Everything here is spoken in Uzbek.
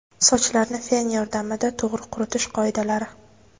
Sochlarni fen yordamida to‘g‘ri quritish qoidalari.